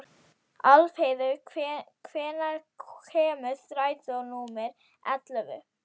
Álfheiður, hvenær kemur strætó númer ellefu?